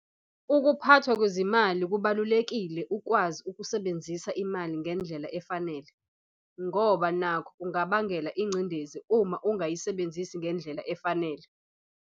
4 Ukuphathwa kwezimali - Kubalulekile ukwazi ukusebenzisa imali ngendlela efanele, ngoba nakho kungakubangela incidezi uma ungayisebenzisi ngendlela efanale.